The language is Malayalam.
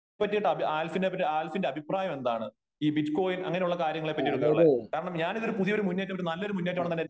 പറ്റി ആൽഫിന്റെ അഭിപ്രായം എന്താണ് ? ഈ ബിറ്റ്കോയിൻ അങ്ങനെ ഉള്ള കാര്യങ്ങളെപ്പറ്റിയുള്ള കാരണം ഞാൻ ഒരു പുതിയ മുന്നേറ്റ നല്ലൊരു മുന്നേറ്റമാണ്